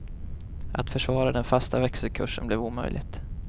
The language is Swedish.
Att försvara den fasta växelkursen blev omöjligt.